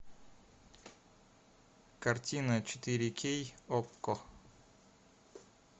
картина четыре кей окко